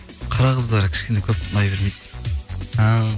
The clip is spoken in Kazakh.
қара қыздар кішкене көп ұнай бермейді